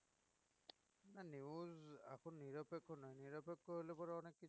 না news এখন নিরপেক্ষ নয় নিরপেক্ষ হলে পরে অনেককিছু